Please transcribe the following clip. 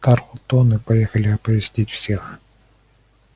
тарлтоны поехали оповестить всех